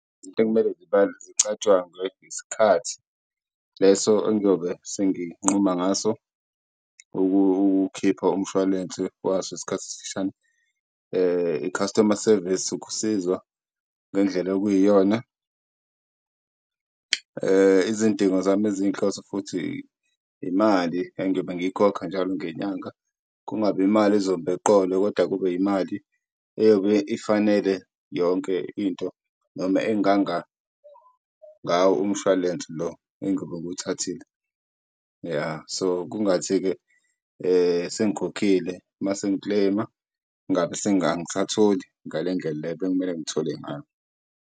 Izinto ekumele zicatshangwe isikhathi leso engiyobe senginquma ngaso ukuwukhipha umshwalense waso isikhathi esifishane, i-customer service, ukusizwa ngendlela okuyiyona. Izidingo zami eziyinhloso futhi imali engiyobe ngiyikhokha njalo ngenyanga, kungabi imali ezomba eqolo kodwa kube imali eyobe ifanele yonke into noma enganga ngawo umshwalense lo engiyobe ngiwuthathile. So, kungathi-ke sengikhokhile uma sengi-claim-a angisatholi ngale ndlela le ebekumele ngithole ngayo.